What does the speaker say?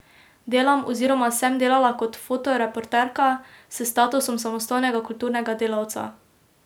Delam oziroma sem delala kot fotoreporterka, s statusom samostojnega kulturnega delavca.